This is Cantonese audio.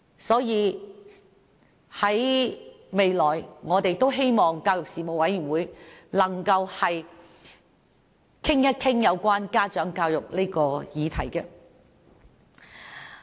所以，我們希望教育事務委員會未來能夠討論家長教育的議題。